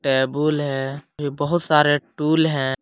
Table है ये बहुत सारे टूल है।